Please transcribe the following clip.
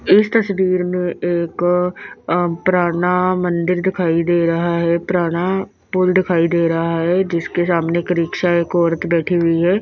इस तस्वीर में एक अ पुराना मंदिर दिखाई दे रहा है पुराना पुल दिखाई दे रहा है जिसके सामने एक रिक्शा एक औरत बैठी हुई है।